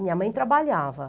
Minha mãe trabalhava.